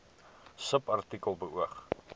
subartikel beoog